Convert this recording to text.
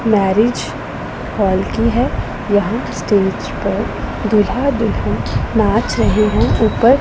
marriage hall की है यहां स्टेज पर दूल्हा दुल्हन नाच रहे हैं ऊपर--